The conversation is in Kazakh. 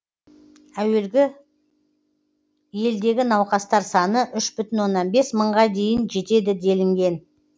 әуелі елдегі науқастар саны үш бүтін оннан бес мыңға дейін жетеді делінген